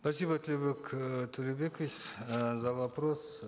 спасибо тлеубек э торебекович э за вопрос